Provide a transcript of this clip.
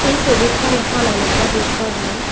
এই ছবিখন এখন এলেকা দৃশ্য হয়।